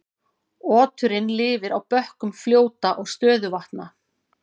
Oturinn lifir á bökkum fljóta og stöðuvatna.